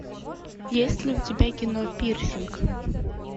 есть ли у тебя кино пирсинг